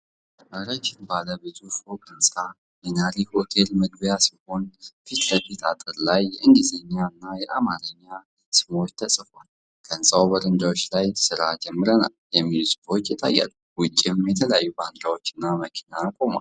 ረዥም ባለ ብዙ ፎቅ ህንጻ የናሪ ሆቴል መግቢያ ሲሆን፣ ፊት ለፊት አጥር ላይ የእንግሊዝኛና የአማርኛ ስሞች ተጽፈዋል። ከህንጻው በረንዳዎች ላይ “ስራ ጀምረናል” የሚሉ ጽሑፎች ይታያሉ፤ ውጭም የተለያዩ ባንዲራዎችና መኪና ቆሟል።